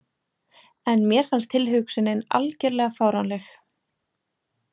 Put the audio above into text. En mér fannst tilhugsunin algerlega fáránleg.